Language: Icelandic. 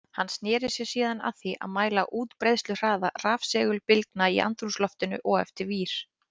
Hann sneri sér síðan að því að mæla útbreiðsluhraða rafsegulbylgna í andrúmsloftinu og eftir vír.